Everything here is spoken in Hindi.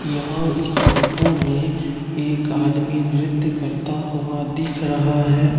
यहां इस फोटो में एक आदमी नृत्य करता हुआ दिख रहा है।